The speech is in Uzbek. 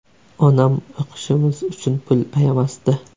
Onam o‘qishimiz uchun pul ayamasdi.